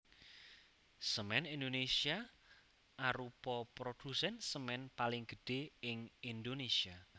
Semen Indonesia arupa produsen semen paling gedhé ing Indonesia